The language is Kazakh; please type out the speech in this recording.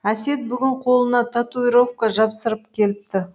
әсет бүгін қолына татуировка жапсырып келіпті